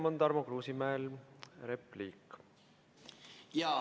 Enne on Tarmo Kruusimäel repliik.